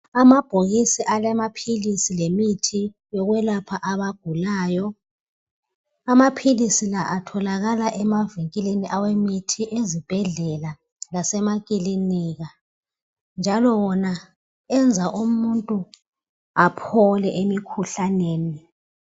Amabhokisi alamaphilisi lemithi yokwelapha abagulayo amaphilisi la atholakala emavikili awemithi ezibhedlela lasemakilika njalo wona enza umuntu aphole emkhuhlaneni.